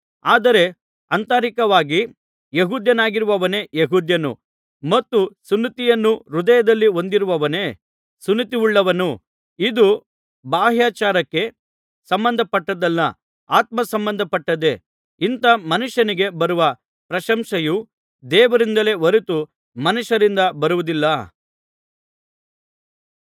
ಆದರೆ ಆಂತರಿಕವಾಗಿ ಯೆಹೂದ್ಯನಾಗಿರುವವನೇ ಯೆಹೂದ್ಯನು ಮತ್ತು ಸುನ್ನತಿಯನ್ನು ಹೃದಯದಲ್ಲಿ ಹೊಂದಿರುವವನೇ ಸುನ್ನತಿಯುಳ್ಳವನು ಇದು ಬಾಹ್ಯಾಚಾರಕ್ಕೆ ಸಂಬಂಧಪಟ್ಟದ್ದಲ್ಲ ಆತ್ಮಸಂಬಂಧಪಟ್ಟದ್ದೇ ಇಂಥ ಮನುಷ್ಯನಿಗೆ ಬರುವ ಪ್ರಶಂಸೆಯು ದೇವರಿಂದಲೇ ಹೊರತು ಮನುಷ್ಯರಿಂದ ಬರುವುದಿಲ್ಲ